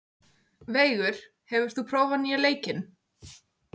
Veigur, hefur þú prófað nýja leikinn?